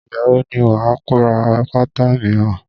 Ìgbà wo ni wà á ra pátá míràn?